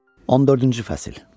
Birinci fəsil.